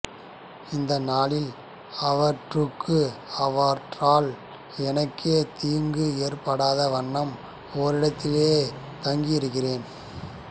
இந்நாளில் அவற்றுக்கு அவற்றால் எனக்கோ தீங்கு ஏற்படா வண்ணம் ஓரிடத்திலேயே தங்கியிருக்கிறேன்